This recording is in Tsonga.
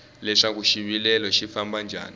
leswaku xivilelo xi famba njhani